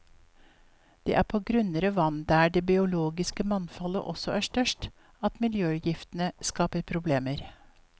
Det er på grunnere vann der det biologiske mangfoldet også er størst, at miljøgiftene skaper problemer.